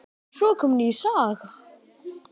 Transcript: Svo kom ný saga.